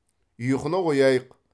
ұйқыны қояйық